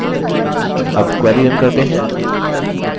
अब query now करते हैं